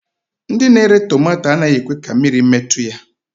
Ndị na-ere tomato anaghị ekwe ka mmiri metụ ya